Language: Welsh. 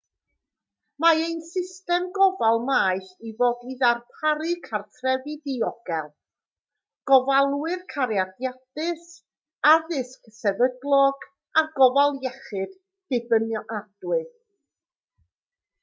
mae ein system gofal maeth i fod i ddarparu cartrefi diogel gofalwyr cariadus addysg sefydlog a gofal iechyd dibynadwy